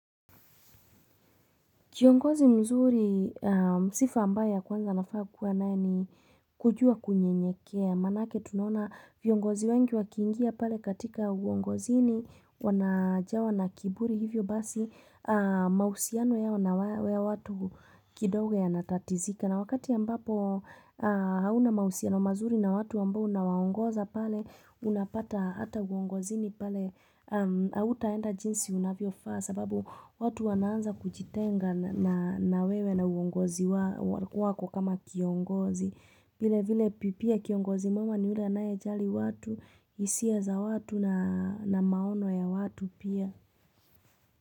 Kiongozi mzuri, sifa ambayo ya kwanza nafaa kuwa nae ni kujua kunye nyekea, manake tunona viongozi wengi wakiingia pale katika uongozi ni wanajawa na kiburi hivyo basi mahusiano yao na ya watu kidogo ya natatizika. Na wakati ya ambapo hauna mahusiano mazuri na watu ambao unawaongoza pale, unapata ata uongozi ni pale, hautaenda jinsi unavyo faa sababu watu wanaanza kujitenga na wewe na uongozi wako kama kiongozi. Vile vile pia kiongozi mwema ni ule anae jali watu, hisia za watu na maono ya watu pia.